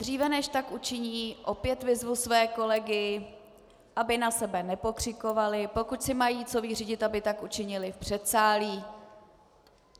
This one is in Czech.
Dříve než tak učiní, opět vyzvu své kolegy, aby na sebe nepokřikovali, pokud si mají co vyřídit, aby tak učinili v předsálí.